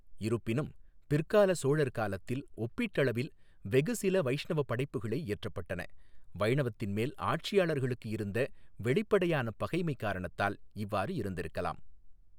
இருப்பினும், பிற்கால சோழர் காலத்தில் ஒப்பீட்டளவில் வெகு சில வைஷ்ணவ படைப்புகளே இயற்றப்பட்டன, வைணவத்தின் மேல் ஆட்சியாளர்களுக்கு இருந்த வெளிப்படையான பகைமை காரணத்தால் இவ்வாறு இருந்திருக்கலாம்.